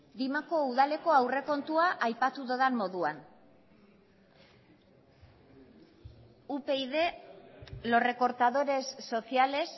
dimako udaleko aurrekontua aipatu dudan moduan upyd los recortadores sociales